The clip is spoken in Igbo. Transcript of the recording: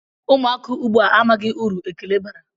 Ụmụaka ugbu a amaghị uru ekele bara.